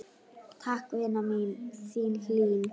Takk, vina mín, þín Hlín.